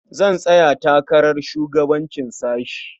Zan tsaya takarar shugabancin sashe.